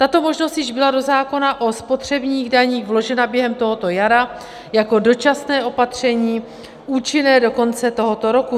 Tato možnost již byla do zákona o spotřebních daních vložena během tohoto jara jako dočasné opatření účinné do konce tohoto roku.